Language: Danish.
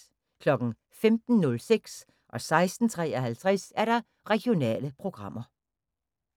15:06: Regionale programmer 16:53: Regionale programmer